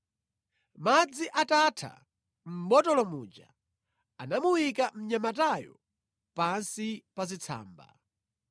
Madzi atatha mʼbotolo muja, anamuyika mnyamatayo pansi pa zitsamba.